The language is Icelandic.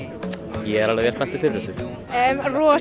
ég er alveg vel spenntur fyrir þessu rosa